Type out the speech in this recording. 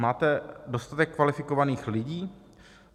Máte dostatek kvalifikovaných lidí?